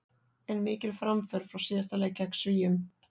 En mikil framför frá síðasta leik gegn Svíum.